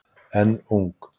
Enn ung